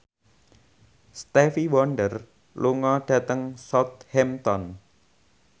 Stevie Wonder lunga dhateng Southampton